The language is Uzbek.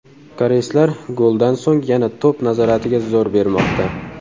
Koreyslar goldan so‘ng yana to‘p nazoratiga zo‘r bermoqda.